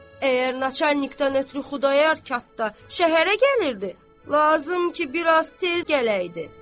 Əgər naçarnikdən ötrü Xudayar qatda şəhərə gəlirdi, lazım ki bir az tez gələydi.